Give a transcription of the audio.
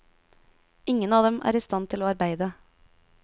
Ingen av dem er i stand til å arbeide.